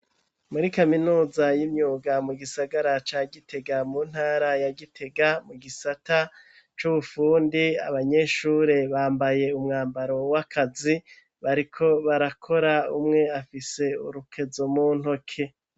Muri kaminuza y'imyuga mu gisagara ca gitega mu ntara ya gitega mu gisata c'ubufundi abanyeshure bambaye umwambaro w'akazi bariko barakora, umwe afise urukezo mu ntoke.